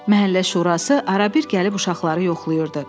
Məhəllə şurası arabir gəlib uşaqları yoxlayırdı.